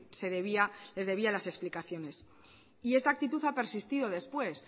se debía les debía las explicaciones y esta actitud ha persistido después